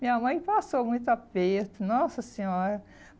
Minha mãe passou muito aperto, nossa senhora.